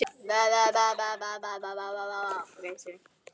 Af því hún ætlaði.